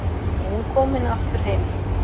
Og hún komin aftur heim.